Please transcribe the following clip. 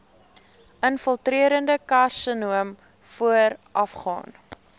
infiltrerende karsinoom voorafgaan